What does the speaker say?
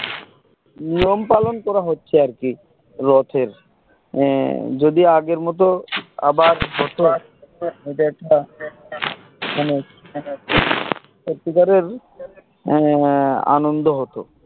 নিয়ম পালন করা হচ্চে আর কি রথের আহ যদি আগের মতো আবার হতো সত্যিকারের আহ আনন্দ হতো